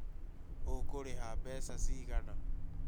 ũgũrĩha mbeca cigana?